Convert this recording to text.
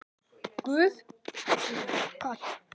Hann stýrði yfirheyrslunni og spurningar hans gengu nærri mér.